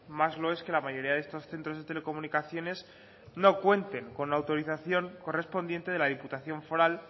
más lo es que la mayoría de estos centros de telecomunicaciones no cuenten con la autorización correspondiente de la diputación foral